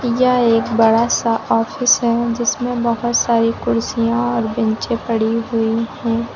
यह एक बड़ा सा आफिस है जिसमें बहुत सारी कुर्सियां और बेंचें पड़ी हुई है।